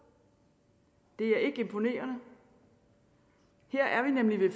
det er ikke imponerende her er vi nemlig ved